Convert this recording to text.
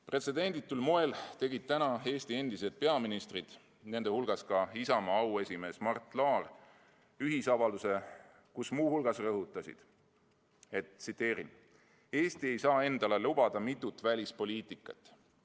Pretsedenditul moel tegid täna Eesti endised peaministrid, nende hulgas Isamaa auesimees Mart Laar, ühisavalduse, kus nad muu hulgas rõhutasid: "Eesti ei saa endale lubada mitut välispoliitikat.